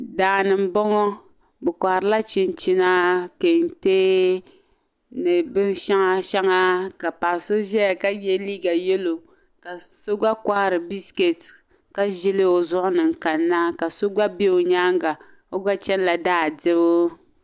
Daani n bɔŋɔ bi kohiri la chinchina, kentɛ ni bin shaŋa shaŋa ka paɣisɔ ʒɛya ka ye liiga yelow. ka sɔ gba kohiri bisket ka ʒili o zuɣuni. nkanna kaso gba be onyaaŋga, ɔgba chanila , daa dibu.